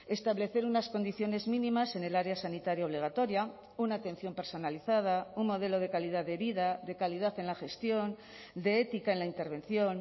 establecer unas condiciones mínimas en el área sanitaria obligatoria una atención personalizada un modelo de calidad de vida de calidad en la gestión de ética en la intervención